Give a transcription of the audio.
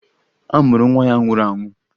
A mụrụ nwa ya nwụrụ anwụ